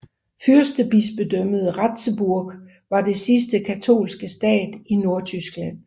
Fyrstebispedømmet Ratzeburg var den sidste katolske stat i Nordtyskland